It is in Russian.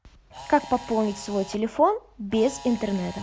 как пополнить свой телефон без интернета